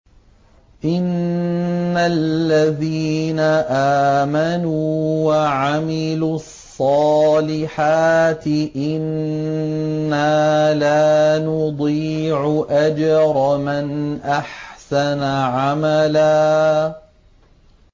إِنَّ الَّذِينَ آمَنُوا وَعَمِلُوا الصَّالِحَاتِ إِنَّا لَا نُضِيعُ أَجْرَ مَنْ أَحْسَنَ عَمَلًا